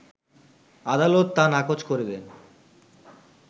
আদালত তা নাকোচ করে দেন